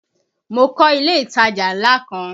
Mo kọ́ ilé ìtajà ńlá kan